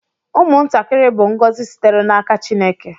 Ụmụntakịrị bụ ngọzi sitere n’aka Chineke